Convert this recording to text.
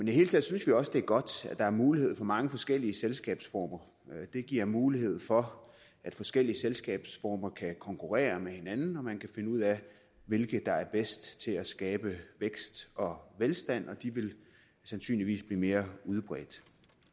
det hele taget synes vi også det er godt at der er mulighed for mange forskellige selskabsformer det giver mulighed for at forskellige selskabsformer kan konkurrere med hinanden og at man kan finde ud af hvilke der er bedst til at skabe vækst og velstand og de vil sandsynligvis blive mere udbredt